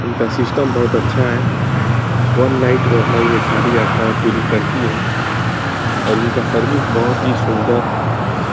इनका सिस्टम बहुत अच्छा है। वन नाईट में अपना ये सारी यात्रायें पूरी करती हैं और इनका सर्विस बहुत ही सुंदर है।